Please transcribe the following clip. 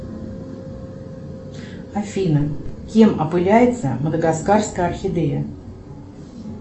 афина кем опыляется мадагаскарская орхидея